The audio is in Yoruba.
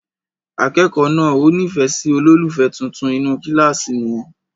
Akẹ́kọ̀ọ́ náà ò nífẹ̀ẹ́ sí olólùfẹ́ tuntun inú kíláàsì wọn.